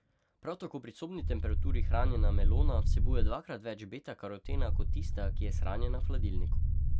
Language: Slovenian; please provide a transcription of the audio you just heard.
Prav tako pri sobni temperaturi hranjena melona vsebuje dvakrat več beta karotena kot tista, ki je shranjena v hladilniku.